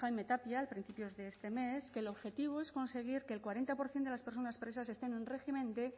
jaime tapia a principios de este mes que el objetivo es conseguir que el cuarenta por ciento de las personas presas estén en régimen de